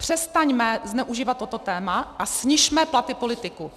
Přestaňme zneužívat toto téma a snižme platy politiků.